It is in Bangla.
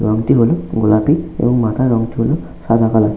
রংটি হলো গোলাপি এবং মাথার রংটি সাদা কালার ।